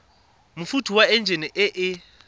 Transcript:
mofuta wa enjine e e